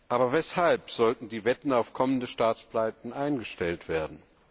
Aber weshalb sollten die Wetten auf kommende Staatspleiten eingestellt werden?